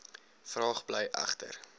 vraag bly egter